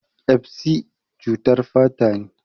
Ƙyasbi cutar fata ne.